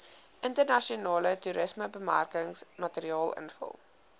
internasionale toerismebemarkingsmateriaal invul